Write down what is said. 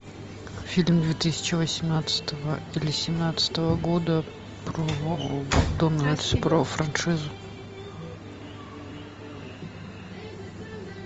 фильм две тысячи восемнадцатого или семнадцатого года про франшизу